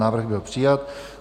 Návrh byl přijat.